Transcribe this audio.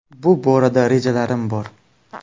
Bu borada rejalarim bor.